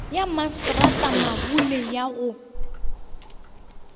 ya masetrata mabule ya go